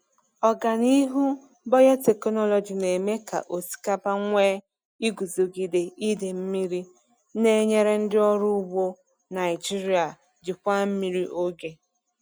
Ọganihu biotechnology na-eme ka osikapa nwee iguzogide idei mmiri, na-enyere ndị ọrụ ugbo Naijiria jikwaa mmiri oge.